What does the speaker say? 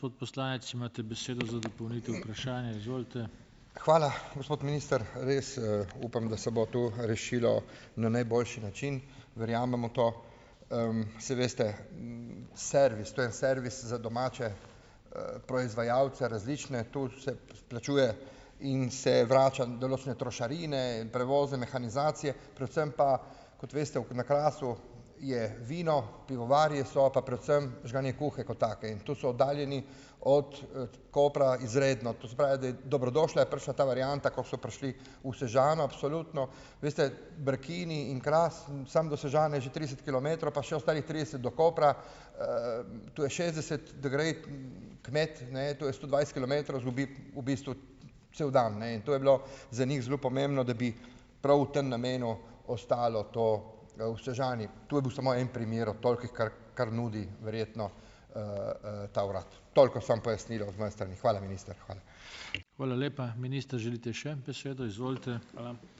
Hvala, gospod minister. Res, upam, da se bo to rešilo na najboljši način. Verjamem v to. Saj veste, servis, to je servis za domače, proizvajalce, različne. Tu se plačuje in se vrača določene trošarine, prevoze mehanizacije, predvsem pa, kot veste, v, na Krasu je vino, pivovarji so pa predvsem žganjekuhe kot take. In to so oddaljeni od, Kopra izredno. To se pravi, da je dobrodošla, je prišla ta varianta, ko so prišli v Sežano, absolutno. Veste, Brkini in Kras, samo do Sežane je že trideset kilometrov pa še ostalih trideset do Kopra, to je šestdeset, da gre kmet, ne, to je sto dvajset kilometrov, izgubi v bistvu cel dan, ne. In to je bilo za njih zelo pomembno, da bi prav v tem namenu ostalo to v Sežani. To je bil samo en primer od tolikih, kar, kar nudi verjetno, ta urad. Toliko samo pojasnilo z moje strani. Hvala, minister, hvala.